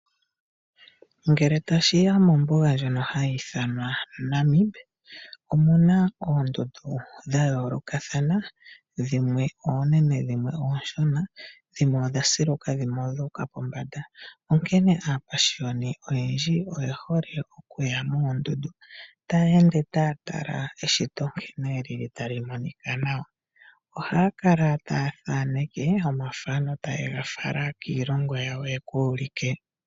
Ngele tashiya mombuga ndjono hayi ithanwa Namib omuna oondundu dha yoolokathana, dhimwe oonene, dhimwe oonshona, dhimwe odha siluka , dhimwe odha uka pombanda. Onkene aapashiyoni oye hole okuya moondundu, taya ende taya tala eshito nkene ta li monika nawa, ohaya thaneke omathano e ta ye ga fala kiilongo yawo ya ka ulike.